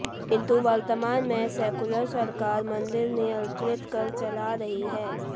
किंतु वर्तमान में सेक्युलर सरकार मंदिर नियंत्रित कर चला रही है